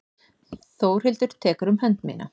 Þórhildur tekur um hönd mína.